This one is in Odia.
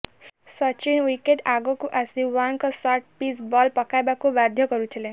ସଚିନ ୱିକେଟ୍ ଆଗକୁ ଆସି ୱାର୍ଣ୍ଣଙ୍କ ଶଟ୍ ପିଚ୍ ବଲ୍ ପକାଇବାକୁ ବାଧ୍ୟ କରୁଥିଲେ